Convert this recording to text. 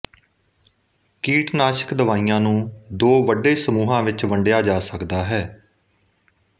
ਕੀਟਨਾਸ਼ਕ ਦਵਾਈਆਂ ਨੂੰ ਦੋ ਵੱਡੇ ਸਮੂਹਾਂ ਵਿੱਚ ਵੰਡਿਆ ਜਾ ਸਕਦਾ ਹੈ